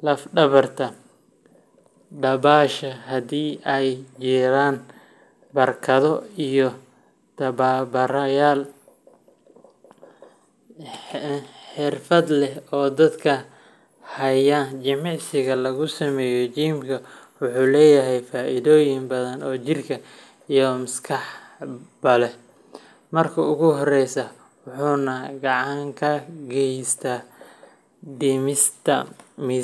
lafdhabarta, dabaasha haddii ay jiraan barkado, iyo tababarayaal trainers xirfad leh oo dadka hagaya. Jimicsiga lagu sameeyo gymka wuxuu leeyahay faa’iidooyin badan oo jir iyo maskaxba leh. Marka ugu horraysa, wuxuu gacan ka geystaa dhimista.